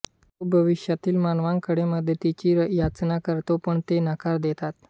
तो भविष्यातील मानवांकडे मदतीची याचना करतो पण ते नकार देतात